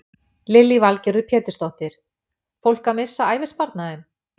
Lillý Valgerður Pétursdóttir: Fólk að missa ævisparnaðinn?